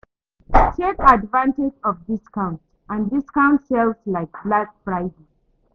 Take advantage of discount and discount sales like black Friday